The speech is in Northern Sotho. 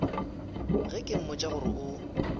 ge ke mmotša gore o